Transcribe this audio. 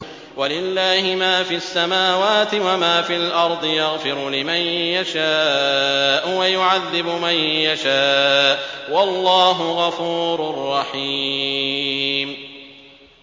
وَلِلَّهِ مَا فِي السَّمَاوَاتِ وَمَا فِي الْأَرْضِ ۚ يَغْفِرُ لِمَن يَشَاءُ وَيُعَذِّبُ مَن يَشَاءُ ۚ وَاللَّهُ غَفُورٌ رَّحِيمٌ